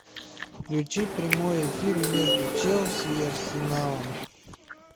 включи прямой эфир между челси и арсеналом